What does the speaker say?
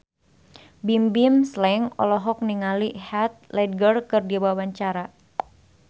Bimbim Slank olohok ningali Heath Ledger keur diwawancara